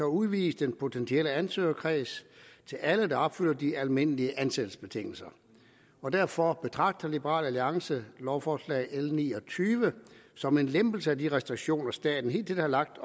udvides den potentielle ansøgerkreds til alle der opfylder de almindelige ansættelsesbetingelser derfor betragter liberal alliance lovforslag l ni og tyve som en lempelse af de restriktioner staten hidtil har lagt